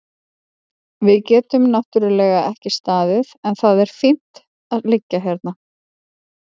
Við getum náttúrlega ekki staðið en það er fínt að liggja hérna.